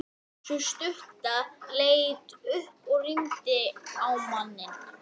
Ef hún gerði það ekki getum við samt fundið hana.